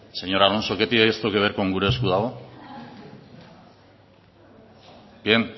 señor alonso qué tiene esto que ver con gure esku dago bien